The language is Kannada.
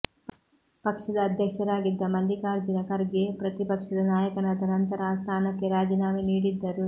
ಪಕ್ಷದ ಅಧ್ಯಕ್ಷರಾಗಿದ್ದ ಮಲ್ಲಿಕಾರ್ಜುನ ಖರ್ಗೆ ಪ್ರತಿಪಕ್ಷದ ನಾಯಕನಾದ ನಂತರ ಆ ಸ್ಥಾನಕ್ಕೆ ರಾಜೀನಾಮೆ ನೀಡಿದ್ದರು